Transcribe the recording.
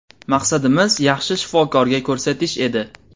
Maqsadimiz yaxshi shifokorga ko‘rsatish edi.